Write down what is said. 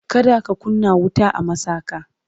kada ka kunna wuta a masaka!